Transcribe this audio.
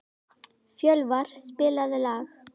Fjölvar, spilaðu lag.